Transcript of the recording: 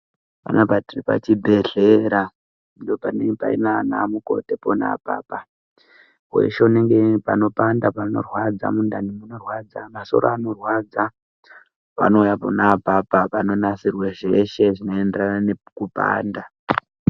Panapa tiri pachibhedhlera ndopanenge nana mukoti pona apapa weshe anenge ane panopanda neanhu inorwadza masoro anorwadza vanouya pona apapo panonasira zveshe zvinoenderana nekupanda.